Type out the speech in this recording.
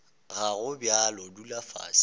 ga go bjalo dula fase